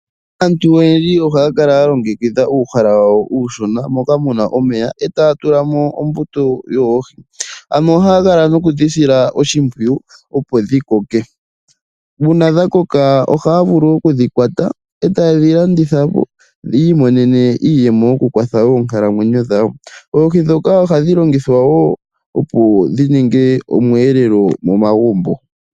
Aantu oyendji ohaya kala ya longekidha uuhala wawo uushona moka mu na omeya e taya tulamo ombuto yoohi ano ohaya kala nokudhi sila oshimpwiyu opo dhi koke uuna dha koka ohaya vulu okudhi kwata e taye dhi landithapo yiimonene iiyemo yokukwatha oonkalamwenyo dhawo. Oohi ndhoka ohadhi longithwa wo opo dhi ninge osheelelwa momagumbo.